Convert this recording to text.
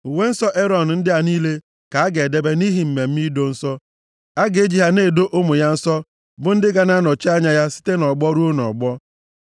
“Uwe nsọ Erọn ndị a niile ka a ga-edebe nʼihi mmemme ido nsọ. A ga-eji ha na-edo ụmụ ya nsọ bụ ndị ga-anọchi anya ya site nʼọgbọ ruo nʼọgbọ.